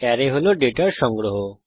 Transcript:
array হল ডেটার সংগ্রহ